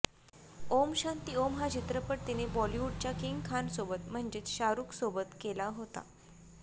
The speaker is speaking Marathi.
ओम शांती ओम हा चित्रपट तिने बॉलिवूडच्या किंग खानसोबत म्हणजेच शाहरुखसोबत केला होता